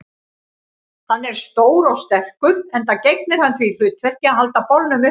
Hann er stór og sterkur, enda gegnir hann því hlutverki að halda bolnum uppréttum.